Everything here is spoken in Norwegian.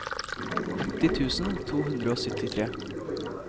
åtti tusen to hundre og syttitre